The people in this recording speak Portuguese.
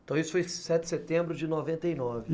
Então, isso foi sete de setembro de noventa e nove.